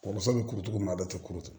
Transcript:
Kɔrɔmuso bɛ kurutu cogo min na a bɛɛ tɛ kuru